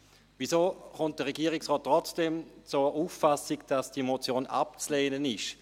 Weshalb kommt der Regierungsrat trotzdem zur Auffassung, dass diese Motion abzulehnen ist?